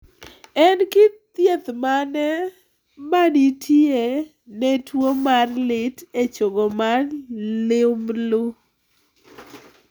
En kit thieth mane ma nitie ne tuo mar lit e chogo mar liumblu?